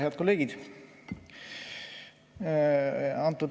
Head kolleegid!